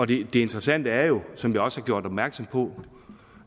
det interessante er jo som der også er gjort opmærksom på